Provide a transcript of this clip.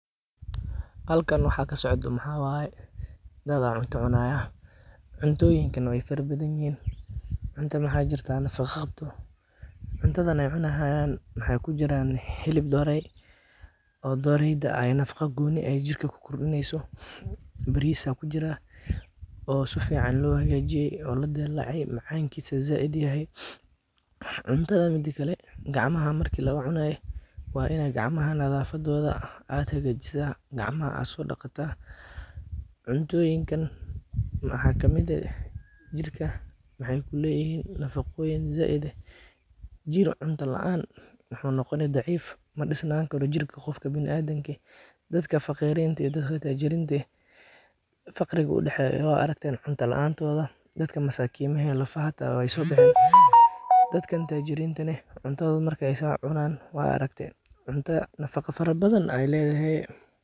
Dad cunto cunaya, cuntooyinkaana badanaa yihiin cunto nafaco qabto. Taan cunayaan hilib dhooro ku jira oo nafaco gooni leh, bariis ku jira si fiican loo diyaariyey, macaan badan. Markii gacan lagu cunayo, waa in nadaafadda la hagaajiyo, la dhaqdo jirka, cuntana si nadiif ah loo cuno. Haddii cunto la’aan jirto, qofka wuu daciifayaa. Dadka taajiriinta iyo faqriinta farqi ayaa u dhexeeya—cunto la’aanta dadka masaakiinta ah iyo cuntada dadka taajiriinta ah oo nafaco badan leedahay.